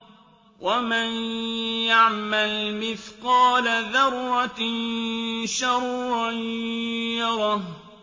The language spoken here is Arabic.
وَمَن يَعْمَلْ مِثْقَالَ ذَرَّةٍ شَرًّا يَرَهُ